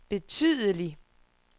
betydelig